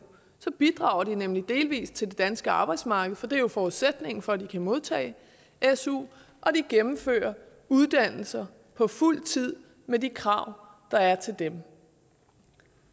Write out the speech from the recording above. bidrager de nemlig delvis til det danske arbejdsmarked for det er jo forudsætningen for at de kan modtage su og de gennemfører uddannelser på fuld tid med de krav der er til dem